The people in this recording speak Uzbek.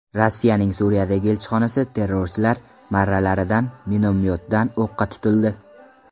Rossiyaning Suriyadagi elchixonasi terrorchilar marralaridan minomyotdan o‘qqa tutildi.